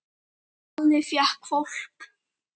Alli fékk hvolp.